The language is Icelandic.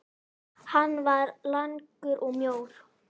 Hann var langur og mjór.